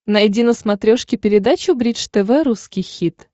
найди на смотрешке передачу бридж тв русский хит